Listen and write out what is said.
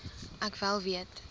ek wel weet